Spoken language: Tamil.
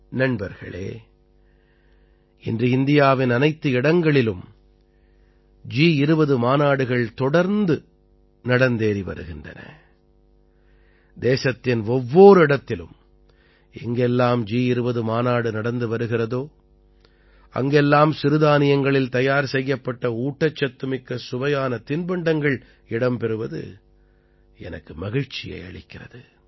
நண்பர்களே இன்று இந்தியாவின் அனைத்து இடங்களிலும் ஜி20 மாநாடுகள் தொடர்ந்து நடந்தேறி வருகின்றன தேசத்தின் ஒவ்வொர் இடத்திலும் எங்கெல்லாம் ஜி20 மாநாடு நடந்து வருகிறதோ அங்கெல்லாம் சிறுதானியங்களில் தயார் செய்யப்பட்ட ஊட்டச்சத்துமிக்க சுவையான தின்பண்டங்கள் இடம் பெறுவது எனக்கு மகிழ்ச்சியை அளிக்கிறது